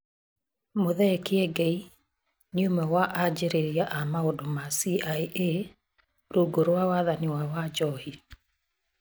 Mũthee Kiengei nĩ ũmwe wa anjĩrĩria a maũndũ ma CIA rungu rwa wathani wa Wanjohi